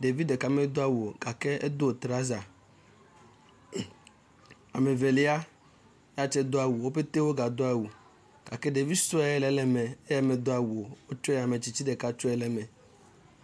Ɖevi ɖeka medo awu o gake edo trɔsa. Ame Evelia ya tse do awu wo pɛte wogado awu gake ɖevi sue aɖe le eme eya medo awu o. wotsɔe ame tsitsi ɖeka tsɔe ɖe me.